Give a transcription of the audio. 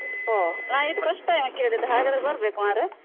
ಒಹ್ ನಾನು ಇದು first time ಕೇಳಿದ್ದು ಹಾಗಾದ್ರೆ ಬರ್ಬೇಕು ಮರ್ರೆ.